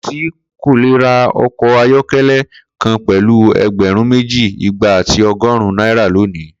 Ko si o ko le ra ọkọ ayọkẹlẹ kan pẹlu ẹgbẹrun meji, igba ati ọgọrun naira loni